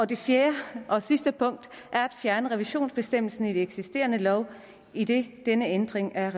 det fjerde og sidste punkt er at fjerne revisionsbestemmelsen i den eksisterende lov idet denne ændring er